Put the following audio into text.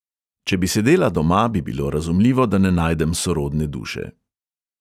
Če bi sedela doma, bi bilo razumljivo, da ne najdem sorodne duše.